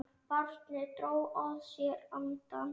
Barnið dró að sér andann.